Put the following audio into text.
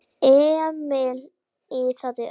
Emil iðaði allur.